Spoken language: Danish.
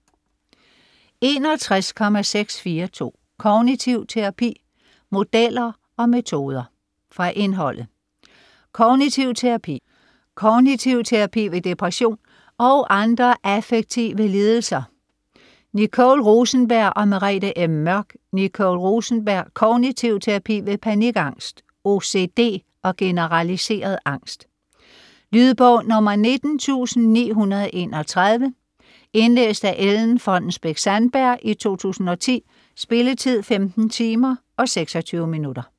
61.642 Kognitiv terapi: modeller og metoder Fra indholdet: Kognitiv terapi; Kognitiv terapi ved depression og andre affektive lidelser / Nicole K. Rosenberg og Merete M. Mørch. Nicole K. Rosenberg: Kognitiv terapi ved panikangst, OCD og generaliseret angst. Lydbog 19931 Indlæst af Ellen Fonnesbech-Sandberg, 2010. Spilletid: 15 timer, 26 minutter.